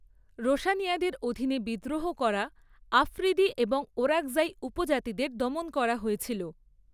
রোশানিয়াদের অধীনে বিদ্রোহ করা আফ্রিদি এবং ওরাকজাই উপজাতিদের দমন করা হয়েছিল।